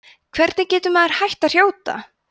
hvernig getur maður hætt að hrjóta